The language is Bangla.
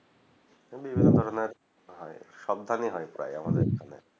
বিভন্ন ধরনের হয় সব ধান এ হয় প্রায় আমাদের এখানে